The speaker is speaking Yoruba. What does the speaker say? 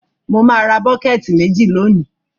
Mo má ra bucket méjì lónìí